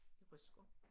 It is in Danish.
I Rutsker